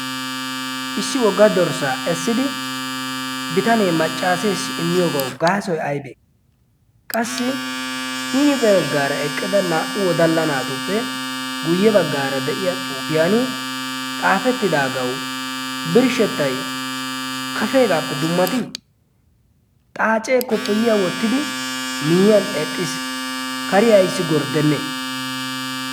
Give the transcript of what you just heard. issi wogga dorssaa essidi bitanee maccaaseessi immiyoogau gaasoi aibee? qassi hinipaaggaara eqqida naa77u wodalla naatuppe guyye baggaara de7iya xuufiyan xaafettidaagau birshshettai kaseegaappe dummatii? xaacee koppoyiya wottidi miyyiyan eqqiis kari aissi gorddenne?